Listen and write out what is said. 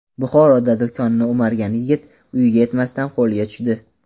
Buxoroda do‘konni o‘margan yigit uyiga yetmasdan qo‘lga tushdi.